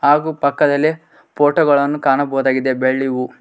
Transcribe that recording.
ಹಾಗೂ ಪಕ್ಕದಲ್ಲಿ ಫೋಟೋ ಗಳನ್ನು ಕಾಣಬಹುದಾಗಿದೆ ಬೆಳ್ಳಿವು.